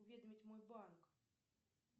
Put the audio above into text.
уведомить мой банк